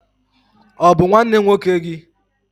Ọ bụ nwanne nwoke gị?